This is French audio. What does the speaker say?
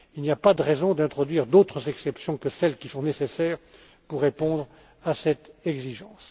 Il n'y a pas de raison d'introduire d'autres exceptions que celles qui sont nécessaires pour répondre à cette exigence.